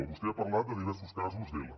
vostè ha parlat de diversos casos d’ela